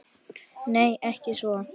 Nei, ekki svo